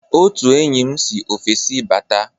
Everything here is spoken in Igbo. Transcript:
Otu enyi m si ofesi bata.